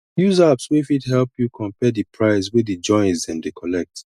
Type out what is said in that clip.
use apps wey fit help you compare di price wey di joints dem dey collect